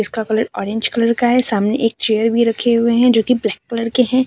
इनका colour orange colour का है सामने एक चेयर भी रखे हुए है जो की ब्लैक कलर के है।